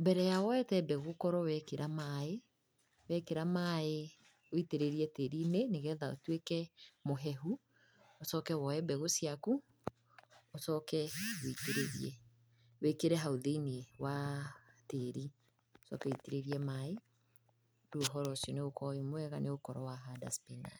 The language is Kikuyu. Mbere ya woete mbegũ, ũkorwo wekĩra maaĩ, wekĩra maaĩ witĩrĩrie tĩri-inĩ nĩgetha ũtuĩke mũhehu, ũcoke woe mbegũ ciaku, ũcoke witĩrĩrie, wĩkĩre hau thĩiniĩ wa tĩri, ũcoke witĩrĩrie maaĩ, rĩu ũhoro ũcio nĩũgũkorwo wĩmwega, nĩũgũkorwo wahanda cipinanji.